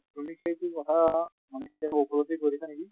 তুমি সেই টো মানে কেতিয়াবা উপলব্ধি কৰিছা নেকি?